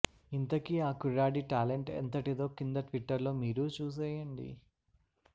ఇంతకీ ఆ కుర్రాడి టాలెంట్ ఎంతటిదో కింద ట్విటర్లో మీరూ చూసేయండి